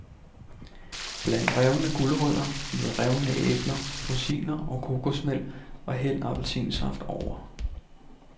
Bland revne gulerødder med revne æbler, rosiner og kokosmel og hæld appelsinsaft over.